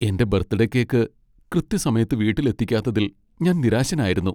എന്റെ birthday cake കൃത്യസമയത്ത് വീട്ടിൽ എത്തിക്കാത്തതിൽ ഞാൻ നിരാശനായിരുന്നു.